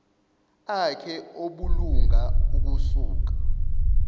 akhe obulunga ukusuka